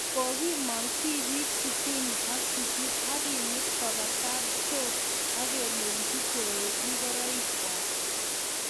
kokimong tibiik 68 akemut koba kapchoo akelechi koreek ngoroik kwak